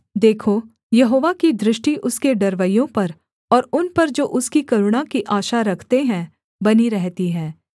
देखो यहोवा की दृष्टि उसके डरवैयों पर और उन पर जो उसकी करुणा की आशा रखते हैं बनी रहती है